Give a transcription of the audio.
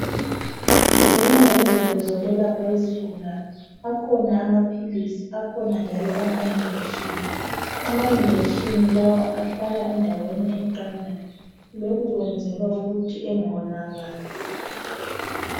Zinengi izinto zokwelapha izigulane, akhona amaphilisi, akhona njalo amajekiseni. Amajekiseni lawa ahlala endaweni eqandayo. Lokhu kwenzelwa ukuthi engawonakali.